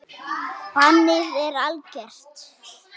Bannið er algert.